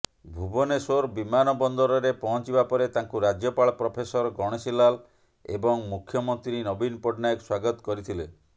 ଭୁବନେଶ୍ୱର ବିମାନବନ୍ଦରରେ ପହଞ୍ଚିବା ପରେ ତାଙ୍କୁ ରାଜ୍ୟପାଳ ପ୍ରଫେସର ଗଣେଶୀଲାଲ ଏବଂ ମୁଖ୍ୟମନ୍ତ୍ରୀ ନବୀନ ପଟ୍ଟନାୟକ ସ୍ବାଗତ କରିଥିଲେ